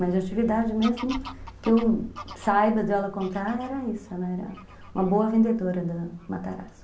Mas a atividade mesmo, que eu saiba de ela contar, era isso, ela era uma boa vendedora da Matarazzo.